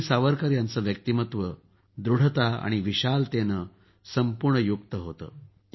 वीर सावरकर यांचं व्यक्तिमत्व दृढता आणि विशालतेनं संपूर्ण युक्त होतं